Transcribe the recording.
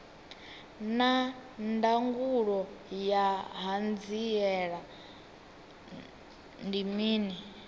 naa ndangulo ya hanziela ndi mini